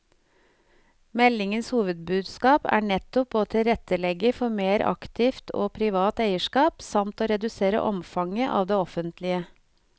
Meldingens hovedbudskap er å nettopp å tilrettelegge for mer aktivt og privat eierskap, samt å redusere omfanget av det offentlige.